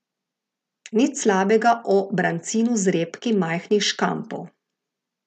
Nič slabega o brancinu z repki majhnih škampov.